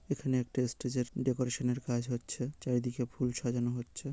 এখানে একটি স্টেজের ডেকরেশন -এর কাজ হচ্ছে চারিদিকে ফুল সাজানো হচ্ছে।